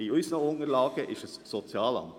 In unseren Unterlagen heisst es Sozialamt.